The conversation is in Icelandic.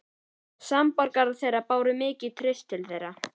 Samborgarar þeirra báru mikið traust til þeirra.